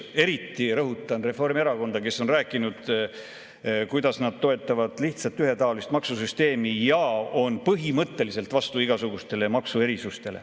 Eriti rõhutan, et Reformierakond on rääkinud, kuidas nad toetavad lihtsat ühetaolist maksusüsteemi ja on põhimõtteliselt vastu igasugustele maksuerisustele.